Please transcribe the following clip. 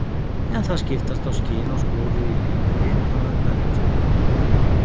En það skiptast á skin og skúrir í lífi rithöfundar eins og hjá öðrum.